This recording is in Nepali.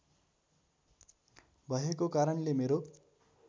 भएको कारणले मेरो